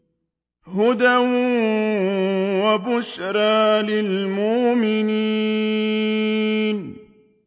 هُدًى وَبُشْرَىٰ لِلْمُؤْمِنِينَ